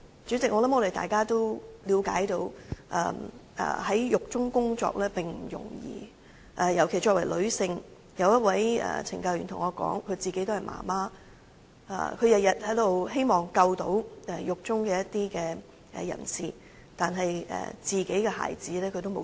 主席，我相信大家也了解到，在獄中工作並不容易，尤其是作為女性，有一位懲教人員對我說，她自己也身為媽媽，她每天也希望能救助獄中一些人士，但卻沒時間照顧自己的孩子。